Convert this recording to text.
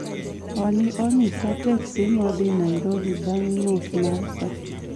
Olli onyisa teksi modhi Nairobi bang' nus ma saa